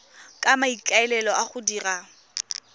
ka maikaelelo a go dira